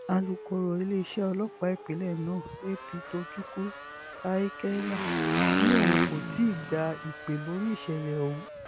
alūkọ̀rọ̀ iléeṣẹ́ ọlọ́pàá ìpínlẹ̀ náà ap tochukwu i kenya ni òun kò ti gba ìpè lórí ìṣẹ̀lẹ̀ ọ̀hún